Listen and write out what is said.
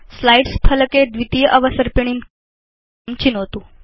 slides फलके द्वितीय अवसर्पिणीं चित्वा तां चिनोतु